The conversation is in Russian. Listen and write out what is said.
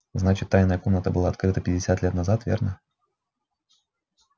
значит тайная комната была открыта пятьдесят лет назад верно